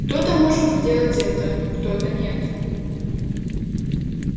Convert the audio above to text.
кто-то может сделать это кто-то нет